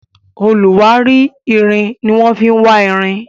oluwari ìrìn ní wan fí wá ìrìn